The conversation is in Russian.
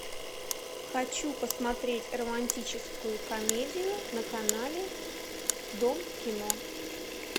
хочу посмотреть романтическую комедию на канале дом кино